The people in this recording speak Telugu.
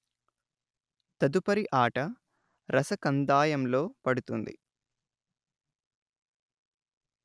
తదుపరి ఆట రసకందాయంలో పడుతుంది